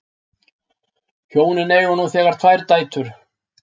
Hjónin eiga nú þegar tvær dætur